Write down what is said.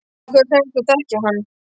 Af hverju sagðist þú þekkja hann?